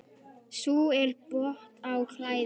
Sú er bót á klæði.